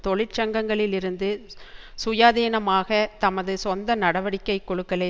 தொழிற்சங்கங்களில் இருந்து சுயாதீனமாக தமது சொந்த நடவடிக்கை குழுக்களை